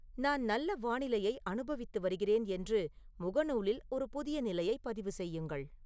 நான் நல்ல வானிலையை அனுபவித்து வருகிறேன் என்று முகநூலில் ஒரு புதிய நிலையை பதிவு செய்யுங்கள்